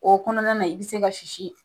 O kɔnɔna na i be se ka sisi